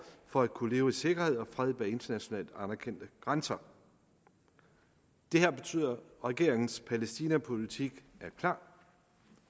for at kunne leve i sikkerhed og fred bag internationalt anerkendte grænser det her betyder at regeringens palæstinapolitik er klar